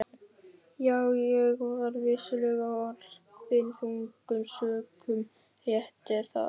Já, ég var vissulega orpinn þungum sökum, rétt er það.